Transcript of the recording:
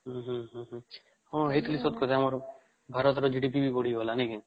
ହୁଁ ହୁଁ ହୁଁ ଏଇଟା ତ ସତ କଥା ଭାରତ ରେ GDP ବି ବଢିଗଲା ନାଇଁ କି